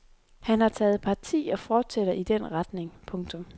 Han har taget parti og fortsætter i den retning. punktum